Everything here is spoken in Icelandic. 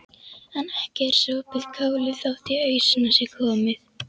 En ekki er sopið kálið þótt í ausuna sé komið.